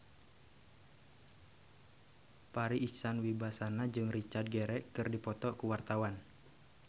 Farri Icksan Wibisana jeung Richard Gere keur dipoto ku wartawan